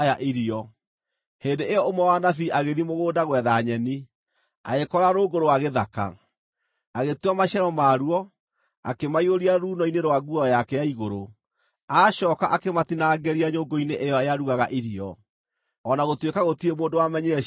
Hĩndĩ ĩyo ũmwe wa anabii agĩthiĩ mũgũnda gwetha nyeni, agĩkora rũũngũ rwa gĩthaka. Agĩtua maciaro maruo, akĩmaiyũria ruuno-inĩ rwa nguo yake ya igũrũ. Acooka akĩmatinangĩria nyũngũ-inĩ ĩyo yarugaga irio, o na gũtuĩka gũtirĩ mũndũ wamenyire ciarĩ kĩĩ.